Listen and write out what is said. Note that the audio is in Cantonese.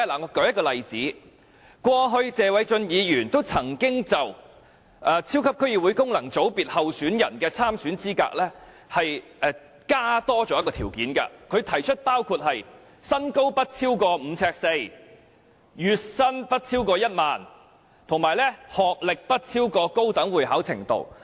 我舉一個例子，過去，謝偉俊議員曾經就超級區議會功能界別候選人的參選資格，多加一些條件，他提出的條件包括：身高不超過5呎4吋，月薪不超過1萬元，以及學歷不高於高等會考程度。